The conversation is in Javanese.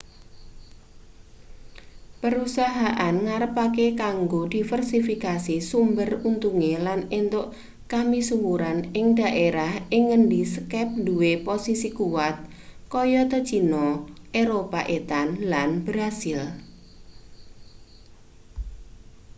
perusahaan ngarepake kanggo diversifikasi sumber untunge lan entuk kamisuwuran ing daerah ing ngendi skype duwe posisi kuwat kayata cina eropa etan lan brasil